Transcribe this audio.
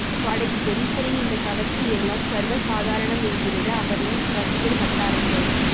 பாடகி ஜெனிபரின் இந்த கவர்ச்சியெல்லாம் சர்வசாதாரணம் என்கிறது அவரின் ரசிகர் வட்டாரங்கள்